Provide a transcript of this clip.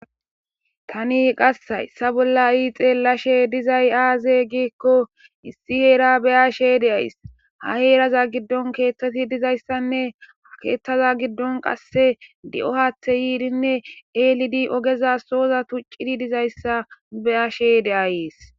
Tani qase hayssa bolla xellashe de'izay azee gikko issi heera bayashe de'ayssii ha heera giddon keththati dizayssanne he keththa giddon qase di'o haaththay yidi ellidi oggeza sohoaza tuchidii dizayssa beyashe de'ayssii